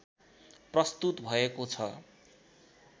प्रस्तुत भएको छ